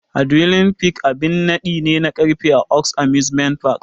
Adrenaline Peak babban abin naɗi ne na karfe a Oaks Amusement Park.